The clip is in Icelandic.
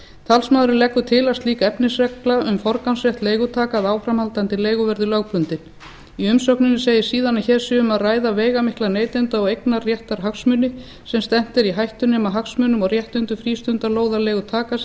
talsmaðurinn leggur til að slík efnisregla um forgangsrétt leigutaka af áframhaldandi leigu verði lögbundin í umsögninni segir síðan að hér sé um að ræða veigamikla neytenda og eignarréttarhagsmuni sem stefnt er í hættu nema hagsmunum og réttindum frístundalóðarleigutaka sé